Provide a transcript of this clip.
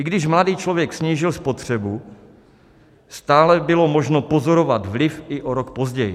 I když mladý člověk snížil spotřebu, stále bylo možno pozorovat vliv i o rok později.